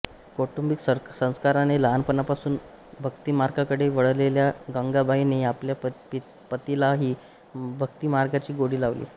कौटुंबिक संस्काराने लहानपणापासून भक्तिमार्गाकडे वळलेल्या गंगाबाईने आपल्या पतीलाही भक्तिमार्गाची गोडी लावली